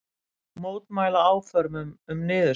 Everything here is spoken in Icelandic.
Mótmæla áformum um niðurskurð